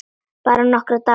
Bara nokkra daga.